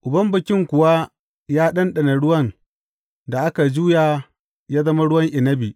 Uban bikin kuwa ya ɗanɗana ruwan da aka juya ya zama ruwan inabi.